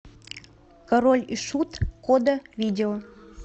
король и шут кода видео